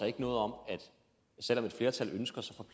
ikke noget om at selv om et flertal ønsker